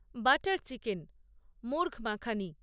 butter chicken murgh makhani